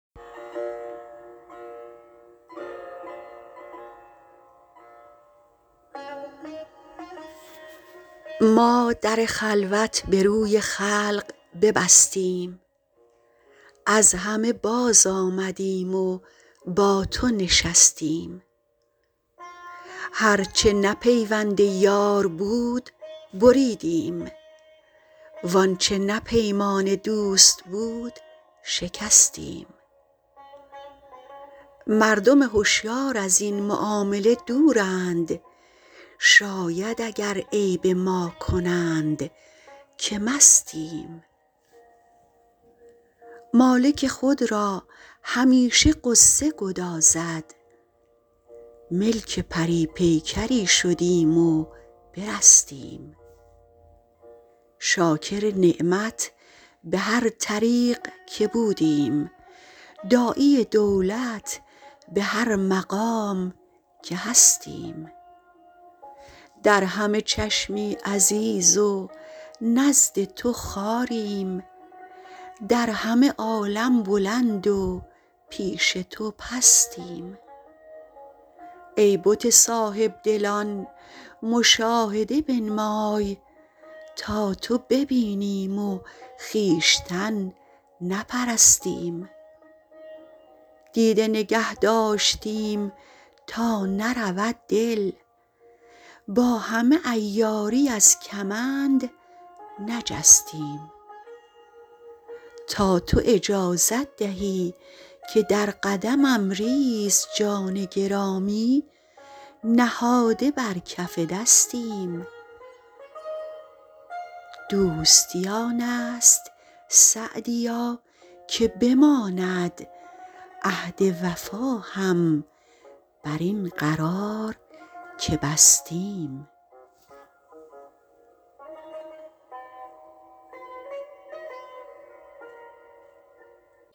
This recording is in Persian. ما در خلوت به روی خلق ببستیم از همه بازآمدیم و با تو نشستیم هر چه نه پیوند یار بود بریدیم وآنچه نه پیمان دوست بود شکستیم مردم هشیار از این معامله دورند شاید اگر عیب ما کنند که مستیم مالک خود را همیشه غصه گدازد ملک پری پیکری شدیم و برستیم شاکر نعمت به هر طریق که بودیم داعی دولت به هر مقام که هستیم در همه چشمی عزیز و نزد تو خواریم در همه عالم بلند و پیش تو پستیم ای بت صاحب دلان مشاهده بنمای تا تو ببینیم و خویشتن نپرستیم دیده نگه داشتیم تا نرود دل با همه عیاری از کمند نجستیم تا تو اجازت دهی که در قدمم ریز جان گرامی نهاده بر کف دستیم دوستی آن است سعدیا که بماند عهد وفا هم بر این قرار که بستیم